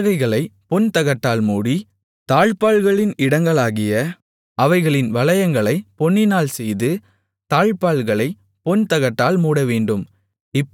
பலகைகளைப் பொன்தகட்டால் மூடி தாழ்ப்பாள்களின் இடங்களாகிய அவைகளின் வளையங்களைப் பொன்னினால் செய்து தாழ்ப்பாள்களைப் பொன் தகட்டால் மூடவேண்டும்